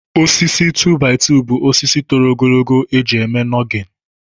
Osisi 2-by-2 bụ osisi toro ogologo eji eme nọgịn